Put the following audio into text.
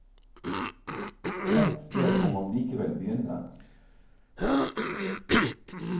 Ett sted må man likevel begynne.